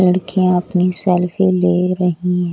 लड़कियाँ अपनी सेल्फी ले रही--